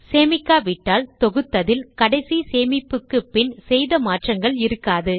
சேமிக்காவிட்டால் தொகுத்ததில் கடைசி சேமிப்புக்கு பின் செய்த மாற்றங்கள் இருக்காது